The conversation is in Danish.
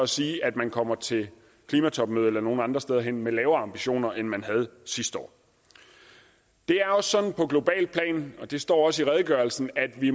sige at man kommer til klimatopmødet eller nogen andre steder hen med lavere ambitioner end man havde sidste år det er også sådan på globalt plan og det står også i redegørelsen at vi